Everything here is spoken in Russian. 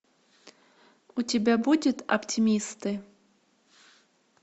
у тебя будет оптимисты